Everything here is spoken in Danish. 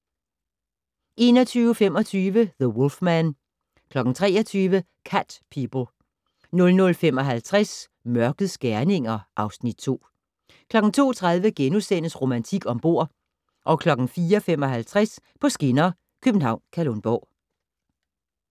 21:25: The Wolfman 23:00: Cat People 00:55: Mørkets gerninger (Afs. 2) 02:30: Romantik om bord * 04:55: På skinner: København-Kalundborg